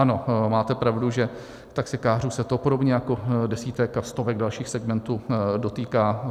Ano, máte pravdu, že taxikářů se to podobně jako desítek a stovek dalších segmentů dotýká.